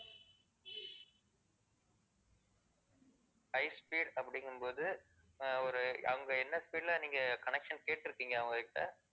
high speed அப்படிங்கும் போது ஆஹ் ஒரு அவங்க என்ன speed ல நீங்க connection கேட்டிருக்கீங்க அவங்ககிட்ட.